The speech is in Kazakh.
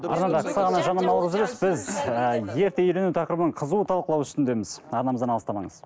арнада қысқа ғана жарнамалық үзіліс біз ііі ерте үйлену тақырыбын қызу талқылау үстіндеміз арнамыздан алыстамаңыз